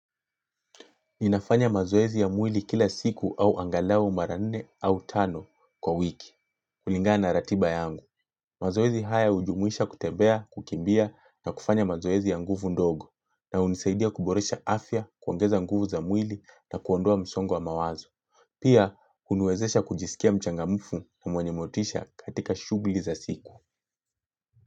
NInafanya mazoezi ya mwili kila siku au angalau maranne au tano kwa wiki. Kulinganana ratiba yangu. Mazoezi haya hujumuisha kutembea, kukimbia na kufanya mazoezi ya nguvu ndogo. Na hunisaidia kuboresha afya, kuongeza nguvu za mwili na kuondoa msongowa mawazo. Pia, huniwezesha kujisikia mchangamfu na mwenyemotisha katika shughuli za siku.